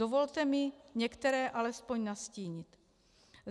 Dovolte mi některé alespoň nastínit.